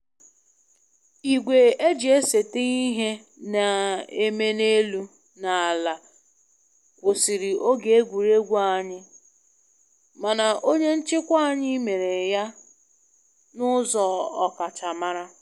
Igwe eji eseta ihe na-eme n'elu na ala kwụsịrị oge egwuregwu anyị, mana onye nchịkwa anyị mere ya na ụzọ ọkachamara